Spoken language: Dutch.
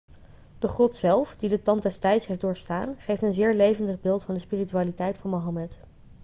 de grot zelf die de tand des tijds heeft doorstaan geeft een zeer levendig beeld van de spiritualiteit van mohammed